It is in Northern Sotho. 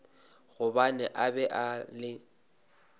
gobane a be a le